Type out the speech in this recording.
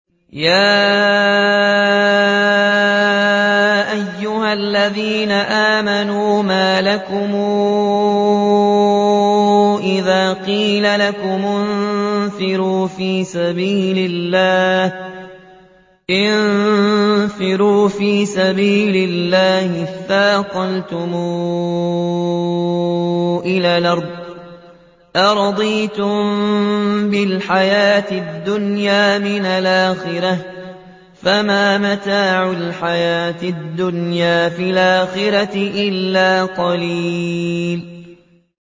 يَا أَيُّهَا الَّذِينَ آمَنُوا مَا لَكُمْ إِذَا قِيلَ لَكُمُ انفِرُوا فِي سَبِيلِ اللَّهِ اثَّاقَلْتُمْ إِلَى الْأَرْضِ ۚ أَرَضِيتُم بِالْحَيَاةِ الدُّنْيَا مِنَ الْآخِرَةِ ۚ فَمَا مَتَاعُ الْحَيَاةِ الدُّنْيَا فِي الْآخِرَةِ إِلَّا قَلِيلٌ